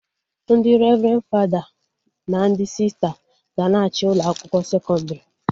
Ndị revrendi fada na ndị sista ga-na achị ụlọ akwụkwọ sekọndrị